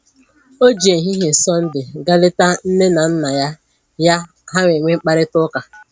O ji ehihie Sọnde gaa leta nne na nna ya, ya, ha wee nwee mkparịta ụka